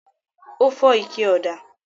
Ó fọ́ ike ọ̀dà?